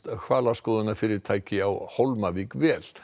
hvalaskoðunarfyrirtæki á Hólmavík vel